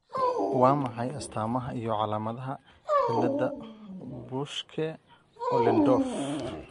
Waa maxay astamaha iyo calaamadaha cilada Buschke Ollendorff ?